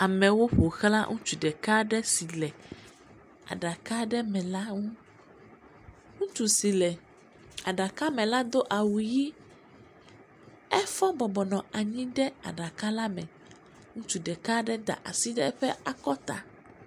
Amewo ƒo xla ŋutsu si le aɖaka me la ŋu, ŋutsu si la aɖaka me la do awu ʋɛ̃, efɔ bɔbɔ nɔ anyi ɖe aɖaka la me.